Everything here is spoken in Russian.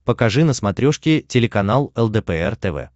покажи на смотрешке телеканал лдпр тв